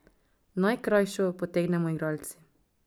Najkrajšo potegnemo igralci.